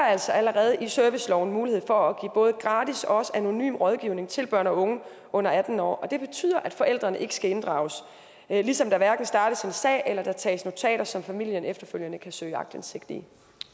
altså allerede i serviceloven mulighed for at give både gratis og også anonym rådgivning til børn og unge under atten år det betyder at forældrene ikke skal inddrages ligesom der hverken startes en sag eller tages notater som familien efterfølgende kan søge aktindsigt i